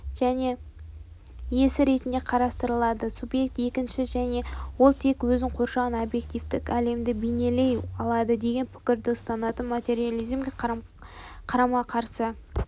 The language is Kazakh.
иесі ретінде қарастырылады субъект екінші және ол тек өзін қоршаған объективтік әлемді бейнелей алады деген пікірді ұстанатын материализмге қарамақарсы